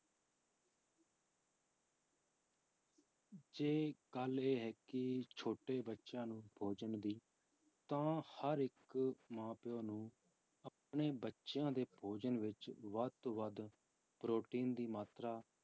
ਜੀ ਗੱਲ ਇਹ ਹੈ ਕਿ ਛੋਟੇ ਬੱਚਿਆਂ ਨੂੰ ਭੋਜਨ ਵਿੱਚ ਤਾਂ ਹਰ ਇੱਕ ਮਾਂ ਪਿਓ ਨੂੰ ਆਪਣੇ ਬੱਚਿਆਂ ਦੇ ਭੋਜਨ ਵਿੱਚ ਵੱਧ ਤੋਂ ਵੱਧ ਪ੍ਰੋਟੀਨ ਦੀ ਮਾਤਰਾ